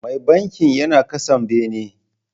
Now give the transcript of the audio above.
Mai bankin yana kasa bene.